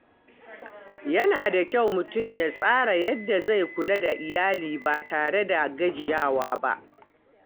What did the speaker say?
Yana da kyau mutum ya tsara yadda zai kula da iyali ba tare da gajiyawa ba.